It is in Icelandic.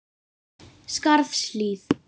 Skarðshlíð